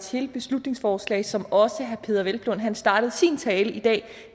til beslutningsforslag som også herre peder hvelplund startede sin tale i dag